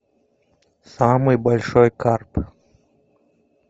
самый большой карп